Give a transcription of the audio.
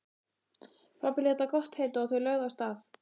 Pabbi lét það gott heita og þau lögðu af stað.